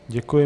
Děkuji.